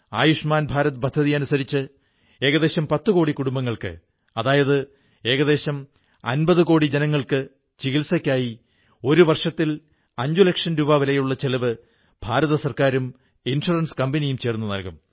ആയുഷ്മാൻ ഭാരത് പദ്ധതിയനുസരിച്ച് ഏകദേശം 10 കോടി കുടുംബങ്ങൾക്ക് അതായത് ഏകദേശം 50 കോടി ജനങ്ങൾക്ക് ചികിത്സക്കായി ഒരു വർഷത്തിൽ 5 ലക്ഷം രൂപ വരെയുള്ള ചെലവ് കേന്ദ്ര ഗവൺമെന്റും ഇൻഷുറൻസ് കമ്പനിയും ചേർന്നു നല്കും